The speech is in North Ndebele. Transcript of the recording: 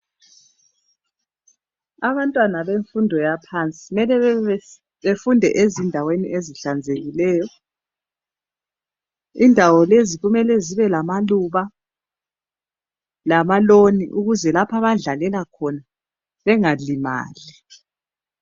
Abantwana bemfundo yaphansi mele bebe befunde ezindaweni ezihlanzekileyo indawo lezi kumele zibe lamaluba lama loni ukuze lapho abadlalela khona bengalimali.